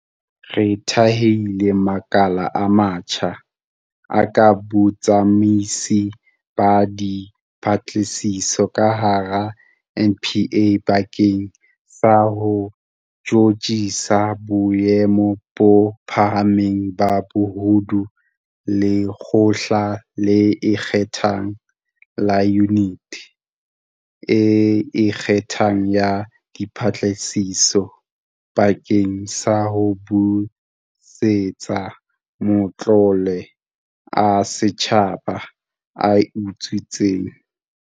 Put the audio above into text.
Re thehile makala a matjha, a kang Botsamaisi ba Dipatlisiso ka hara NPA bakeng sa ho tjhutjhisa boemo bo phahameng ba bobodu, Lekgotla le Ikgethang la Yuniti e Ikgethang ya Dipatlisiso SIU bakeng sa ho busetsa matlole a setjhaba a utswitsweng.